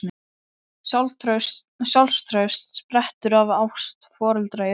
Sjálfstraust sprettur af ást foreldra í uppeldi.